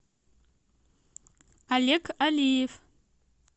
олег алиев